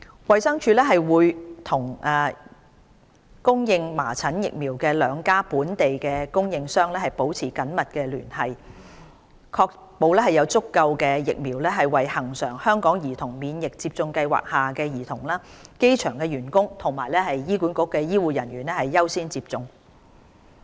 衞生署會與供應麻疹疫苗的兩家本地供應商保持緊密聯繫，確保有足夠疫苗為恆常香港兒童免疫接種計劃下的兒童、機場員工及醫管局醫護人員優先接種。